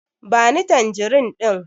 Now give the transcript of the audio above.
Ba ni tanjirin ɗin!